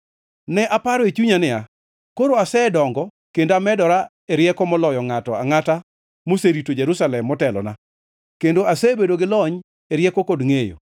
Ne aparo e chunya niya, “Koro, asedongo kendo amedora e rieko moloyo ngʼato angʼata moserito Jerusalem motelona; kendo asebedo gi lony e rieko kod ngʼeyo.”